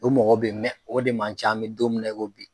O mɔgɔ be ye mɛ o mɔgɔ de man ca an bi don min na i ko bi